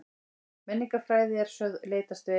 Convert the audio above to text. Menningarfræði eru sögð leitast við